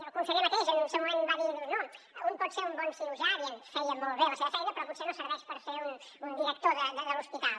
el conseller mateix en el seu moment va dir no un pot ser un bon cirurgià dient feia molt bé la seva feina però potser no serveix per ser un director de l’hospital